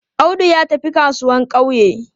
Audu ya tafi kasuwan ƙauye.